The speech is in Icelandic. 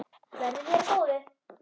Verði þér að góðu.